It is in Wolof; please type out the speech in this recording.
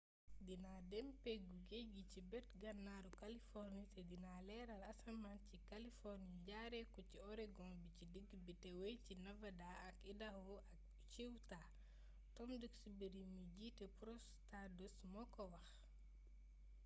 dina dem ci peggu géej gi ci bët gannaaru kaliforni te dina leeral asamaan ci ca kaliforni jaare ko ci oregon bi ci digg bi te wey ci nevada ak idaaho ak ciutah tom duxbury mi jiite prose stardust moo ko wax